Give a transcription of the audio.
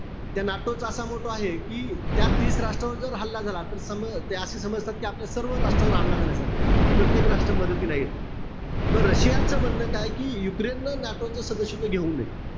त्या NATO चा असा motto आहे कि त्या तीस राष्ट्रावर जर हल्ला झाला, तर सम ते असं समजतात कि आपल्या सर्व राष्ट्रावर हल्ला झाल्यासारखं. म प्रत्येक राष्ट्र मदतीला येत. म रशियाचा म्हणणं काय कि युक्रेननं NATO च सदस्यत्व घेऊ नये.